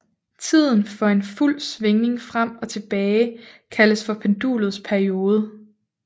Tiden for en fuld svingning frem og tilbage kaldes pendulets periode